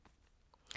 DR1